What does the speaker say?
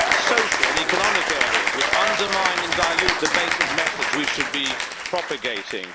social and economic areas which undermine and dilute the basic message we should be propagating.